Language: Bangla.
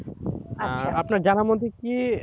আপনার জানার মধ্যে কি,